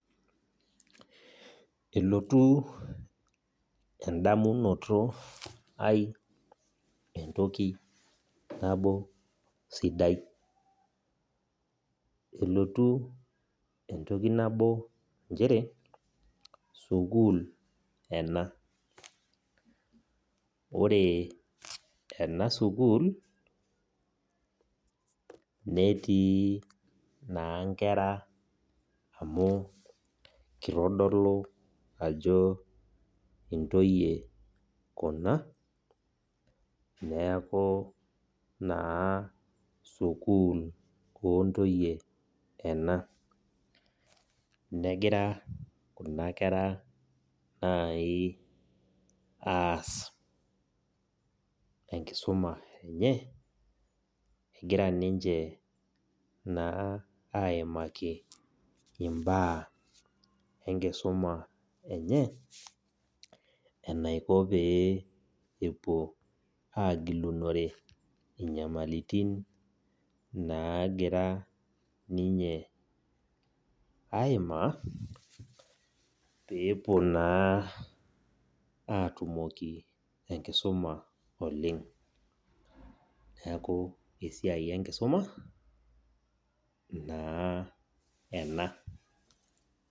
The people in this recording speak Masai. Elotu endamunoto ai entoki nabo sidai, nchere sukuul ena. Ore ena sukuul netii naa nkera amuu keitodolu ajo intoyie kuna neaku naa sukuul oontoyie ena. Negira kuna kera aasa enkisuma enye. Egira aimaiki imbaa anaa enaiko tenegilunore inyamalaritin naaimarita peyie epuo aatumoki enkisoma oleng. Niaku esia enkisuma ena.